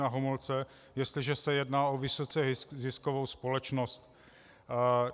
Na Homolce, jestliže se jedná o vysoce ziskovou společnost.